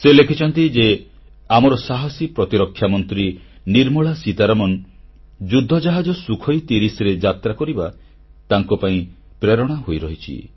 ସେ ଲେଖିଛନ୍ତି ଯେ ଆମର ସାହାସୀ ପ୍ରତିରକ୍ଷା ମନ୍ତ୍ରୀ ନିର୍ମଳା ସୀତାରମଣ ଯୁଦ୍ଧ ଜାହାଜ ସୁଖୋଇ30ରେ ଯାତ୍ରାକରିବା ତାଙ୍କପାଇଁ ପ୍ରେରଣା ହୋଇରହିଛି